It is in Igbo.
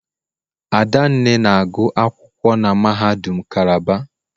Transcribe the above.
Adanne na-agụ akwụkwọ na mahadum Calabar.